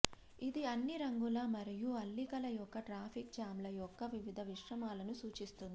ఇది అన్ని రంగుల మరియు అల్లికల యొక్క ట్రాఫిక్ జామ్ల యొక్క వివిధ మిశ్రమాలను సూచిస్తుంది